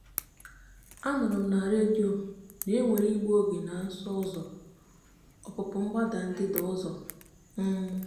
a nụrụ m na redio na e nwere igbu oge na nso ụzọ ọpụpụ mgbada ndịda ọzọ. um